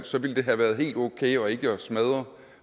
så ville det have været helt okay og ikke have smadret